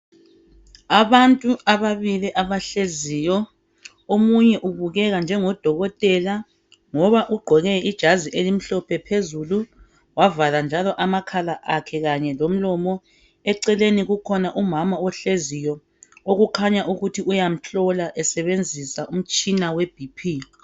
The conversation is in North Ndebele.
Abantu ababili abahleziyo, omunye ubukeka njengodokotela ngoba ugqoke ijazi elimhlophe phezulu, wavala njalo amakhala akhe kanye lomlomo. Eceleni kukhona umama ohleziyo okukhanya ukuthi uyamhlola esebenzisa umtshina weBP.